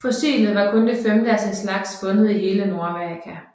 Fossilet var kun det femte af sin slags fundet i hele Nordamerika